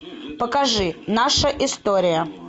покажи наша история